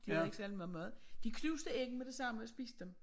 De havde ikke særlig meget mad de knuste æggene med det samme og spiste dem